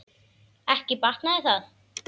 Ekki batnaði það!